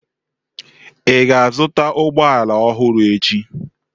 Ị ga-azụta ụgbọ ala ọhụrụ echi?